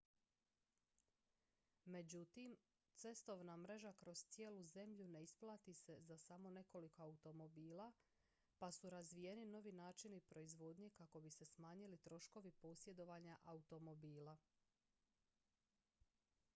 međutim cestovna mreža kroz cijelu zemlju ne isplati se za samo nekoliko automobila pa su razvijeni novi načini proizvodnje kako bi se smanjili troškovi posjedovanja automobila